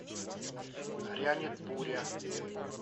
грянет буря